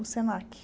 O Senac.